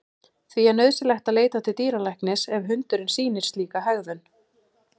Því er nauðsynlegt að leita til dýralæknis ef hundurinn sýnir slíka hegðun.